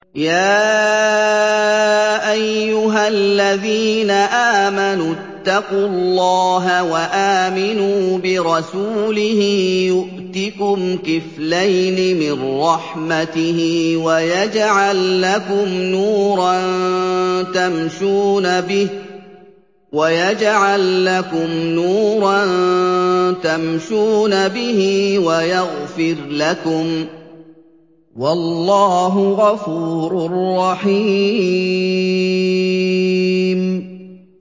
يَا أَيُّهَا الَّذِينَ آمَنُوا اتَّقُوا اللَّهَ وَآمِنُوا بِرَسُولِهِ يُؤْتِكُمْ كِفْلَيْنِ مِن رَّحْمَتِهِ وَيَجْعَل لَّكُمْ نُورًا تَمْشُونَ بِهِ وَيَغْفِرْ لَكُمْ ۚ وَاللَّهُ غَفُورٌ رَّحِيمٌ